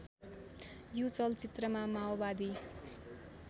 यो चलचित्रमा माओवादी